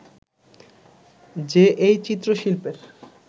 যে এই চিত্রশিল্পের